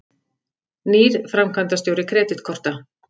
Nýr framkvæmdastjóri Kreditkorta